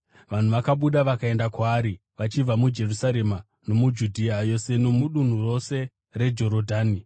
Vanhu vakabuda vakaenda kwaari vachibva muJerusarema nomuJudhea yose nomudunhu rose reJorodhani.